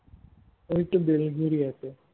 ওই তো বেলঘড়িয়া তে